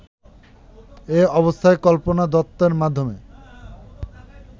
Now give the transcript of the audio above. এ অবস্থায় কল্পনা দত্তের মাধ্যমে